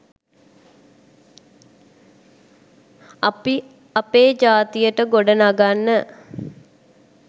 අපි අපේ ජාතියට ගොඩනගන්න